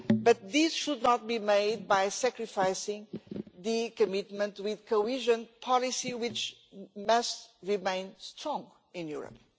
But this should not be done by sacrificing the commitment with cohesion policy, which must remain strong in Europe.